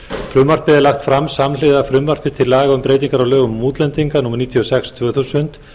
frumvarpið er lagt fram samhliða frumvarpi til laga um breytingu á lögum um útlendinga númer níutíu og sex tvö þúsund